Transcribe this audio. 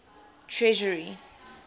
treasury